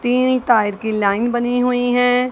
तीन टायर की लाइन बनी हुई हैं।